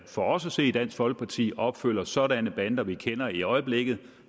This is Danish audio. for os at se i dansk folkeparti opfylder sådanne bander vi kender i øjeblikket